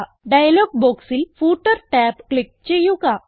dialogue ബോക്സിൽ footer tab click ചെയ്യുക